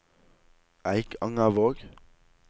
Eikangervåg